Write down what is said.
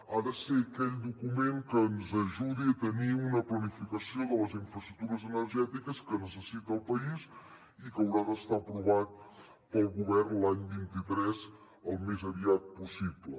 ha de ser aquell document que ens ajudi a tenir una planificació de les infraestructures energètiques que necessita el país i que haurà d’estar aprovat pel govern l’any vint tres al més aviat possible